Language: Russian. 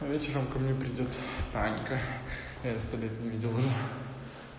а вечером ко мне придёт танька я её сто лет не видел уже